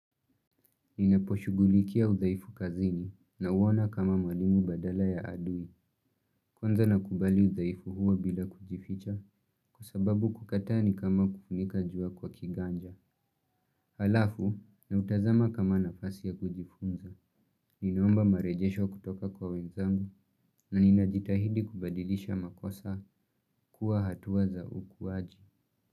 Ninaposhughulikia udhaifu kazini na uona kama mwalimu badala ya adui. Kwanza nakubali udhaifu huo bila kujificha kwa sababu kukataa ni kama kufunika jua kwa kiganja. Halafu, na utazama kama nafasi ya kujifunza. Ninaomba marejesho kutoka kwa wenzangu na ninajitahidi kubadilisha makosa kuwa hatuwa za ukuwaji.